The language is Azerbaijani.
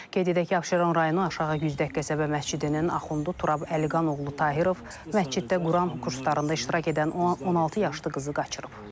Qeyd edək ki, Abşeron rayonu Aşağı Güzdək qəsəbə məscidinin Axundu Turab Əliqan oğlu Tahirov məsciddə Quran kurslarında iştirak edən 16 yaşlı qızı qaçırıb.